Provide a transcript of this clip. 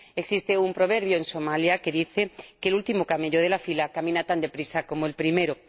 Existe un proverbio en Somalia que dice que el último camello de la fila camina tan deprisa como el primero.